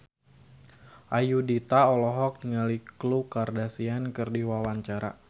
Ayudhita olohok ningali Khloe Kardashian keur diwawancara